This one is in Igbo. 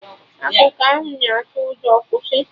Akụkọ ahụ na atụ ụjọ, kwụsị!